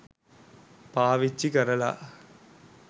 පාවිච්චි කරලා